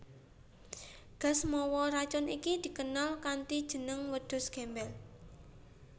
Gas mawa racun iki dikenal kanthi jeneng Wedhus Gembel